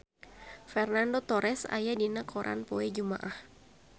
Fernando Torres aya dina koran poe Jumaah